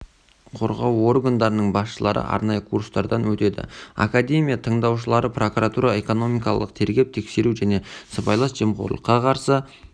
қорғау органдарының басшылары арнайы курстардан өтеді академия тыңдаушылары прокуратура экономикалық тергеп-тексеру және сыбайлас жемқорлыққа қарсы